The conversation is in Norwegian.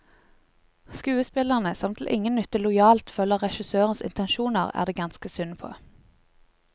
Skuespillerne, som til ingen nytte lojalt følger regissørens intensjoner, er det ganske synd på.